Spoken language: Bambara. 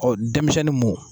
Ɔ denmisɛnnuw mun